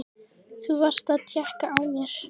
Þú varst að tékka á mér!